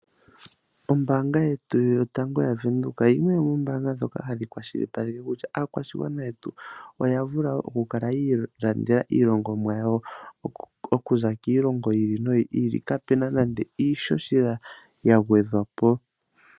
Ombaanga yetu yotango ya Venduka yimwe yomoombanga ndhoka hadhi kwashilipaleke kutya aakwashigwana yetu oya vula oku kala ya ilandela iilongomwa yawo okuza kiilongo yi ili noyi ili ka puna nande iishoshela gwedhwapo.